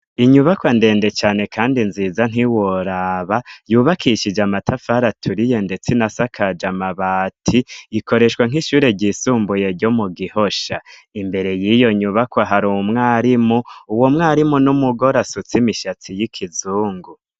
Inyubakwa ndende cane, kandi nziza ntiworaba yubakishije amatafari aturiye, ndetse na sakaje amabati ikoreshwa nk'ishure ryisumbuye ryo mu gihosha imbere yiyo nyubakwa hari uwu mwarimu uwo mwarimu n'umugore asutsimishatsi y'ikizungu.